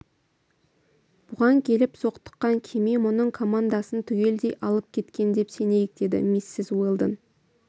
бұған келіп соқтыққан кеме мұның командасын түгелдей алып кеткен деп сенейік деді миссис уэлдон